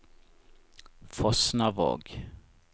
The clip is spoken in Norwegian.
Fosnavåg